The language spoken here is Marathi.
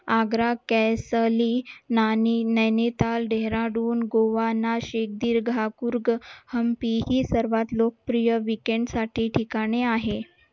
आग्रा नैनीताल, डेहराडून, गोवा, नाशिक हम्पी ही सर्वात लोकप्रिय weekend साठी ठिकाणी आहेत